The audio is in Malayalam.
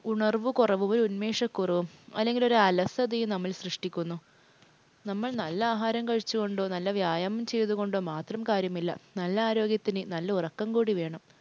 ഉണർവ് കുറവും അല്ലെങ്കിൽ ഒരു ഉന്മേഷക്കുറവും അല്ലെങ്കിൽ ഒരു അലസതയും നമ്മൾ സൃഷ്ടിക്കുന്നു. നമ്മൾ നല്ല ആഹാരം കഴിച്ചു കൊണ്ടോ നല്ല വ്യായാമം ചെയ്തത് കൊണ്ടോ മാത്രം കാര്യമില്ല. നല്ല ആരോഗ്യത്തിന് നല്ല ഉറക്കം കൂടി വേണം.